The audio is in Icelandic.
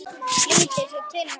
Flýtir sér til hans.